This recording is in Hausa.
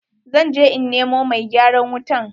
Zan je in nemo mai gyaran wutan.